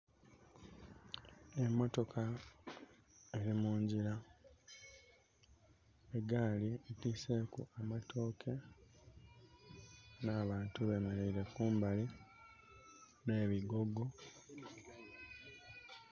Emotoka eli mungyira. Egaali etwiise ku amatooke, n'abantu bemeleire kumbali. N'ebigogo...